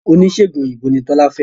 Oníṣègùn òyìnbó ni Tọ́lá fẹ́